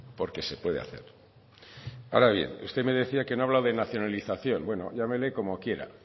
porque se puede hacer ahora bien usted me decía que no habla de nacionalización bueno llámele como quiera